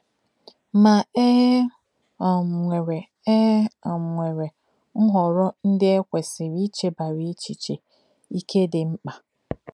Ma, e um nwere e um nwere nhọrọ ndị e kwesịrị ichebara echiche ike dị mkpa.